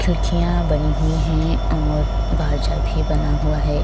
खिड़कियां बनी हुई है और बाजा भी बना हुआ है।